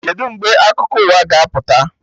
Kedụ mgbe akwụkwọ akụkọ ụwa ga-apụta?